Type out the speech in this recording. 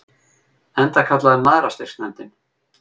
Enda kallaður Mæðrastyrksnefndin.